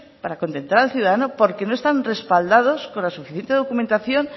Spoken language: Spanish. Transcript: para contentar al ciudadano porque no están respaldados con la suficiente documentación